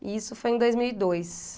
E isso foi em dois mil e dois.